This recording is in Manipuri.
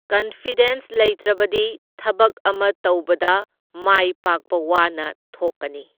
ꯀꯟꯐꯤꯗꯦꯟꯁ ꯂꯩꯇ꯭ꯔꯕꯗꯤ ꯊꯕꯛ ꯑꯃ ꯇꯧꯕꯗ ꯃꯥꯏ ꯄꯥꯛꯄ ꯋꯥꯅ ꯊꯣꯛꯀꯅꯤ꯫